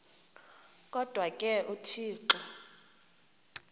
kodwa ke uthixo